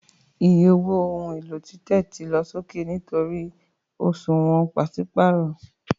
Iye owó ohun èlò títẹ̀ ti lọ sókè nítorí òṣùwọ̀n pàṣípààrọ̀